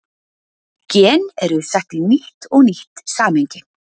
Gen eru sett í nýtt og nýtt samhengi.